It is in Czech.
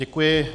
Děkuji.